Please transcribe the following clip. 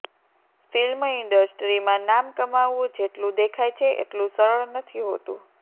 film ઇન્ડસ્ટ્રીમાં નામ કમાવવું જેટલું દેખાય છે એટલું સરળ નથી હોતું